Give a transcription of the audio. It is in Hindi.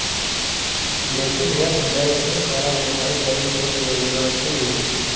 लेकिन यह जय सिंह द्वारा निभाई गई एक योजना थी